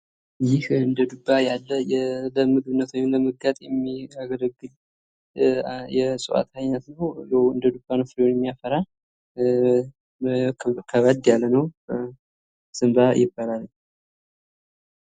ይህ እንደ ዱባ ያለ ለምግብነት ወይም ለመጋጥ የሚያገለግል የእጽዋት አይነት ነው። ያው እንደ ዱባ ነው ፍሬ የሚያፈራ ከበድ ያለ ነው። ዘንባ ይባላል።